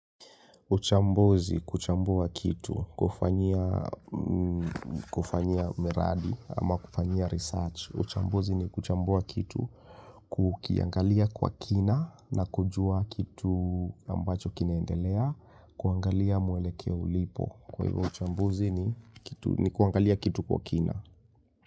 Uchambozi kuchambua kitu kufanya miradi ama kufanya research. Uchambozi ni kuchambua kitu kukiangalia kwa kina na kujua kitu ambacho kineendelea. Kuangalia mwelekea ulipo. Kwa hivyo uchambozi ni kuangalia kitu kwa kina.